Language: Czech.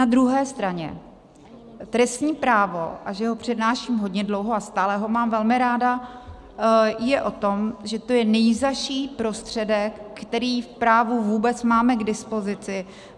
Na druhé straně trestní právo - a že ho přednáším hodně dlouho a stále ho mám velmi ráda - je o tom, že to je nejzazší prostředek, který v právu vůbec máme k dispozici.